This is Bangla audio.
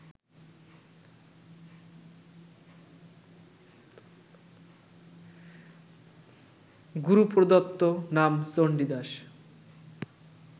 গুরুপ্রদত্ত নাম চণ্ডীদাস